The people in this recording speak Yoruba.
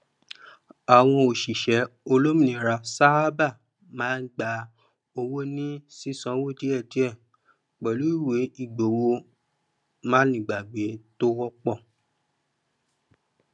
àwọn òṣìṣẹ olómìnira sáábà máa gbà owó ní sísanwó díẹdíẹ pẹlú ìwé ìgbowó manígbàgbé tó wọpọ